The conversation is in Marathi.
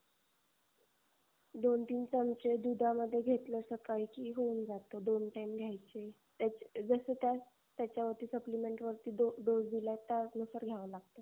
दोन तीन चमचे दुधामध्ये घेतल सकळी कि होऊन जात. दोन time घ्यायच जस त्या त्याच्यावरती supplement वरती dose दिला त्याचनुसार घ्याव लागत